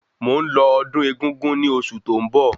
Mò ń lọ ọdún egúngún ni oṣù tó ń bọ̀